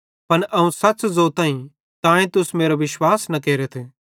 पन अवं सच़ ज़ोताईं तांए तुस मेरो विश्वास न केरथ